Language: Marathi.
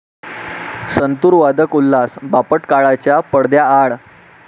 संतुर वादक उल्हास बापट काळाच्या पडद्याआड